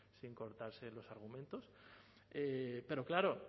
sin cortarse en los argumentos pero claro